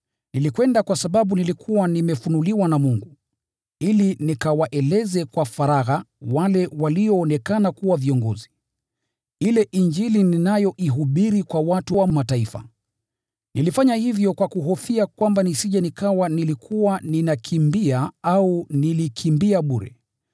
Nilikwenda kwa sababu nilikuwa nimefunuliwa na Mungu, ili nikawaeleze kwa faragha wale walioonekana kuwa viongozi, ile Injili ninayoihubiri kwa watu wa Mataifa. Nilifanya hivyo kwa kuhofia kwamba nisije nikawa nilikuwa ninakimbia au nilikimbia bure.